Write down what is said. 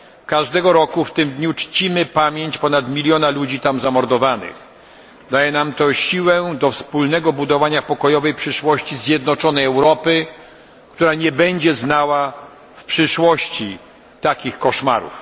Każdego roku w tym dniu czcimy pamięć ponad miliona zamordowanych tam ludzi. Daje nam to siłę do wspólnego budowania pokojowej przyszłości zjednoczonej Europy, która nie będzie znała w przyszłości takich koszmarów.